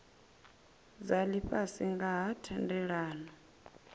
dza lifhasi nga ha thendelano